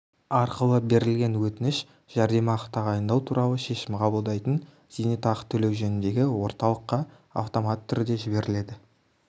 арқылы берілген өтініш жәрдемақы тағайындау туралы шешім қабылдайтын зейнетақы төлеу жөніндегі орталыққа автоматты түрде жіберіледі